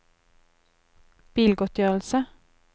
bilgodtgjørelse